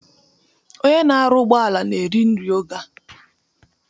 Onye na-arụ ụgbọala na-eri nri oge a